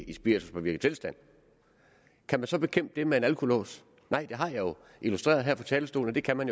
i spirituspåvirket tilstand kan man så bekæmpe det med en alkolås nej jeg har jo illustreret her fra talerstolen at det kan man